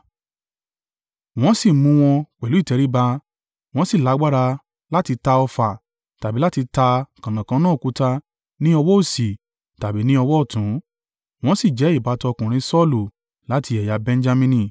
Wọ́n sì mú wọn pẹ̀lú ìtẹríba wọ́n sì lágbára láti ta ọfà tàbí láti ta kànnàkànnà òkúta ní ọwọ́ òsì tàbí ní ọwọ́ ọ̀tún, wọ́n sì jẹ́ ìbátan ọkùnrin Saulu láti ẹ̀yà Benjamini):